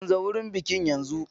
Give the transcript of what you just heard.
Canja wurin bikin yanzu!